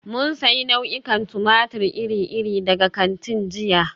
Mun sayi nau'ikan tumatir iri-iri daga kantin jiya.